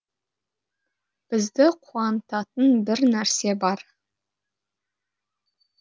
бізді қуантатын бір нәрсе бар